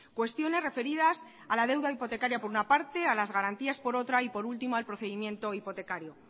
cuestiones referidas a la deuda hipotecaria por una parte a las garantías por otra y por último al procedimiento hipotecario